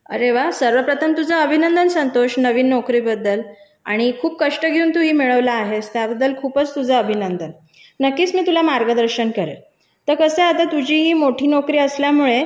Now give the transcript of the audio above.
अरे वा सर्वप्रथम तुझं अभिनंदन संतोष नवीन नोकरी बद्दल आणि खूप कष्ट घेऊन तू हे मिळवला आहेस त्याबद्दल खूपच तुझा अभिनंदन नक्कीच मी तुला मार्गदर्शन करेल तर कसा आहे आता ही तुझी मोठी नोकरी असल्यामुळे